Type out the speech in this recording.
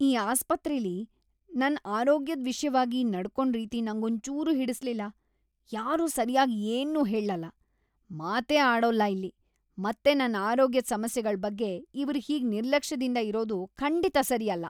ಈ ಆಸ್ಪತ್ರೆಲಿ ನನ್ ಆರೋಗ್ಯದ್‌ ವಿಷ್ಯವಾಗಿ ನಡ್ಕೊಂಡ್‌ ರೀತಿ ನಂಗೊಂಚೂರೂ ಹಿಡಿಸ್ಲಿಲ್ಲ. ಯಾರೂ ಸರ್ಯಾಗ್‌ ಏನ್ನೂ ಹೇಳಲ್ಲ, ಮಾತೇ ಆಡೋಲ್ಲ ಇಲ್ಲಿ! ಮತ್ತೆ ನನ್ ಆರೋಗ್ಯದ್‌ ಸಮಸ್ಯೆಗಳ್‌ ಬಗ್ಗೆ ಇವ್ರ್ ಹೀಗ್ ನಿರ್ಲಕ್ಷ್ಯದಿಂದ ಇರೋದು ಖಂಡಿತ ಸರಿ ಅಲ್ಲ.